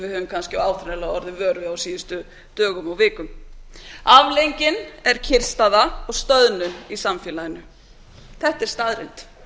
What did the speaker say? við höfum kannski áþreifanlega orðið vör við á síðustu dögum og vikum afleiðingin er kyrrstaða og stöðnun í samfélaginu þetta er staðreynd